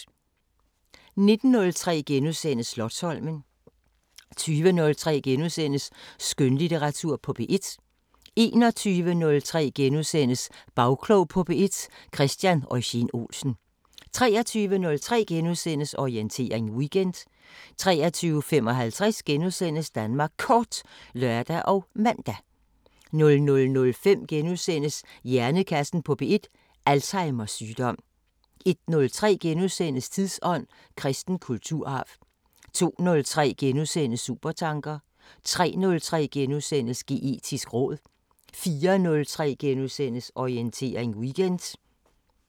19:03: Slotsholmen * 20:03: Skønlitteratur på P1 * 21:03: Bagklog på P1: Christian Eugen-Olsen * 23:03: Orientering Weekend * 23:55: Danmark Kort *(lør og man) 00:05: Hjernekassen på P1: Alzheimers sygdom * 01:03: Tidsånd: Kristen kulturarv * 02:03: Supertanker * 03:03: Geetisk råd * 04:03: Orientering Weekend *